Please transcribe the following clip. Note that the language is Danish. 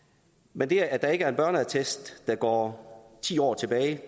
men det at der ikke er en børneattest der går ti år tilbage